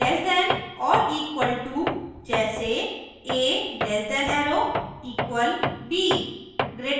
<= less than or equal to जैसे a less than arrow equal b